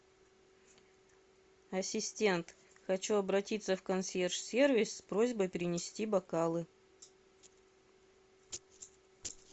ассистент хочу обратиться в консьерж сервис с просьбой принести бокалы